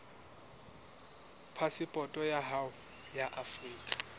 phasepoto ya hao ya afrika